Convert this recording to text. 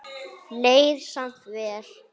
Leið samt vel.